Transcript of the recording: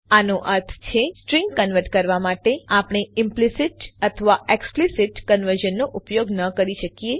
આનો અર્થ છે સ્ટ્રીંગ કન્વર્ટ કરવા માટે આપણે ઈમ્પ્લીસિત અથવા એક્સ્પ્લીસિત કન્વર્ઝનનો ઉપયોગ ન કરી શકીએ